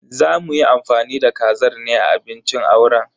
Za muyi amfani da kazar ne a abincin auren.